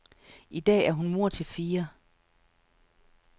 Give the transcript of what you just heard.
I dag er hun mor til fire.